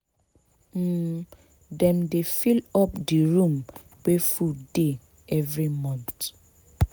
um dem dey fill up di room wey food dey every month.